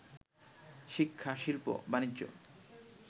শিক্ষা, শিল্প, বাণিজ্য